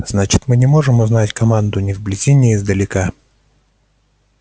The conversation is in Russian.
значит мы не можем узнать команду ни вблизи ни издалека